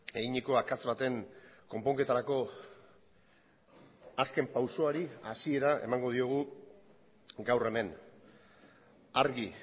eginiko akats baten konponketarako azken pausoari hasiera emango diogu gaur hemen argi